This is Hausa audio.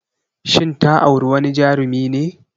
Shin ta auri wani Jarumi ne?